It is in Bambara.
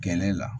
Gɛnɛ la